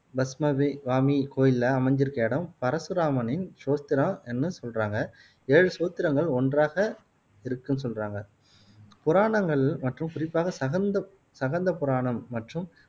கோயில்ல அமைஞ்சுருக்க இடம் பரசுராமனின் ஸ்தோத்திரான்னும் சொல்றாங்க ஏழு ஸ்தோத்திரங்கள் ஒன்றாக இருக்குன்னு சொல்றாங்க புராணங்கள் மற்றும் குறிப்பாக சகந்த சகந்த புராணம் மற்றும்